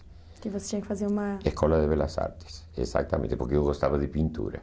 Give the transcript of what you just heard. Porque você tinha que fazer uma... Escola de belas artes, exatamente, porque eu gostava de pintura.